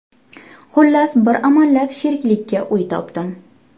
Xullas, bir amallab sheriklikka uy topdim.